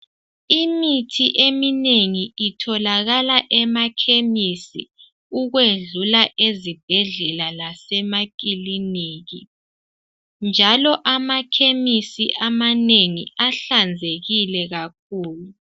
Imithi eminengi itholakala emakhemisi ukwedlula ezibhedlela lasemakiliniki njalo amakhemisi amanengi ahlanzekile kakhulu.